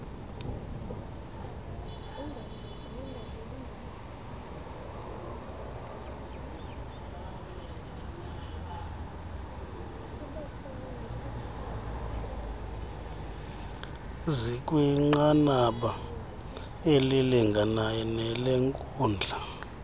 zikwinqanaba elilinganayo nelenkundla